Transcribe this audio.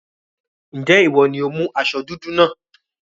Ǹjẹ́ ìwọ ni ó mú aṣọ dúdú náà?